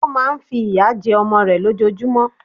Ó má a nfi ìyà jẹ ọmọ rẹ̀ lójojúmọ́